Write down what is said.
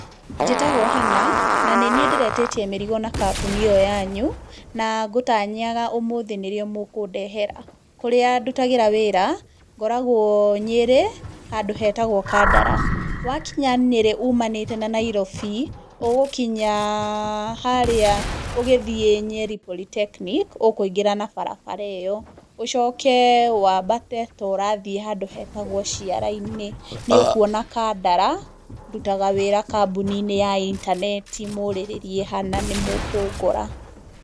Njĩtagwo Hannah, na nĩniĩ ndĩretĩtie mĩrigo na kambuni ĩyo yanyu, na ngũtanyaga ũmũthĩ nĩrĩo mũkũndehera, kũrĩa ndutagĩra wĩra, ngoragwo Nyĩrĩ, handũ hetagwo Kandara, wakinya Nyĩrĩ ũmanĩte na Nairobi, ũgũkinya, harĩa ũgĩthiĩ Nyeri Polytechnic, ũkũingĩra na barabara ĩyo, ũcoke wambate to ũrathiĩ handũ hetagwo ciara-inĩ, nĩũkuona Kandara, ndutaga wĩra kambuni-inĩ ya intaneti, mũrĩrĩrie Hannah nĩ mũkũngora.